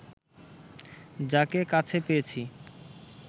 যাকে কাছে পেয়েছি